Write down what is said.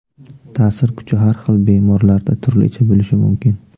Ta’sir kuchi har xil bemorlarda turlicha bo‘lishi mumkin.